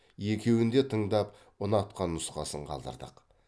екеуін де тыңдап ұнатқан нұсқасын қалдырдық